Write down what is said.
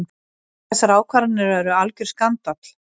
Þessar ákvarðanir eru algjör skandall.